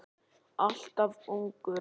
Alltof ungur.